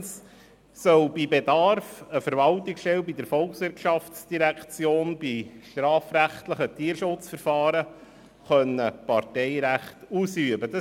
Zweitens soll bei Bedarf eine Verwaltungsstelle in der VOL bei strafrechtlichen Tierschutzverfahren Parteirecht ausüben können.